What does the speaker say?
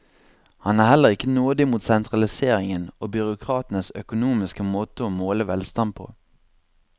Han er heller ikke nådig mot sentraliseringen og byråkratenes økonomiske måte å måle velstand på.